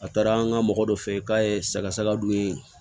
A taara an ka mɔgɔ dɔ fɛ yen k'a ye saga sagaw ye